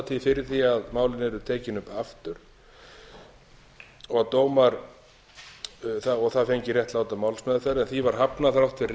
tíð fyrir því að málin yrðu tekin upp aftur og það fengi réttláta málsmeðferð því var hafnað þrátt fyrir